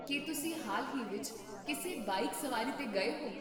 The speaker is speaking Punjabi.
ਕੀ ਤੁਸੀਂ ਹਾਲ ਹੀ ਵਿੱਚ ਕਿਸੇ ਬਾਈਕ ਸਵਾਰੀ 'ਤੇ ਗਏ ਹੋ?